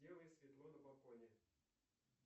сделай светло на балконе